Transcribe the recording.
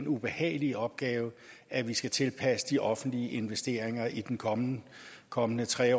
ubehagelige opgave at vi skal tilpasse de offentlige investeringer i den kommende kommende tre